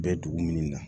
Bɛ dugu min na